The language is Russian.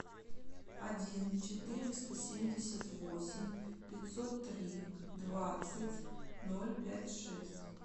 один четыреста семьдесят восемь пятьсот три двадцать ноль пять шесть